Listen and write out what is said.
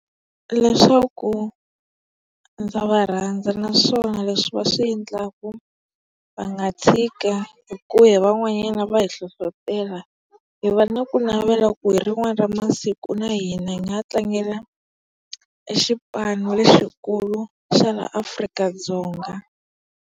Leswaku ndza va rhandza naswona leswi wa swi endlaka va nga tshiki hi ku he van'wanyana va hi hlohlotela. Hi va na kunavela ku hi rin'wana ra masiku na hina hi nga tlangela e xipano lexikulu xa laha Afrika-Dzonga.